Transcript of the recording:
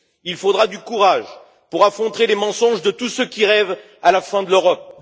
Il faudra du courage pour affronter les mensonges de tous ceux qui rêvent de la fin de l'Europe.